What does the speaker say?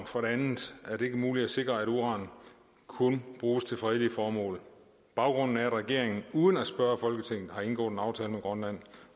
for det andet er det ikke muligt at sikre at uran kun bruges til fredelige formål baggrunden er at regeringen uden at spørge folketinget har indgået en aftale med grønland